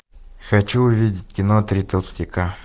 хочу увидеть кино три толстяка